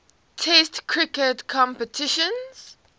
test cricket competitions